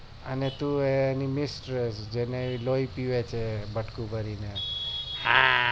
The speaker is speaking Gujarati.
અને તું નિમેશ જેને લોય પીવે બટકું ભરીને